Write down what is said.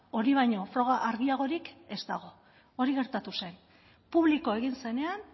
hori baino froga argiagorik ez dago hori gertatu zen publiko egin zenean